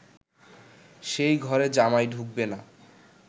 সেই ঘরে জামাই ঢুকবে না